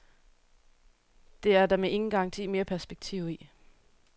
Det er der med garanti mere perspektiv i.